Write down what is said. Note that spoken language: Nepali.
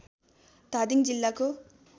धादिङ जिल्लाको